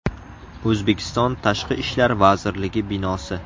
O‘zbekiston Tashqi ishlar vazirligi binosi.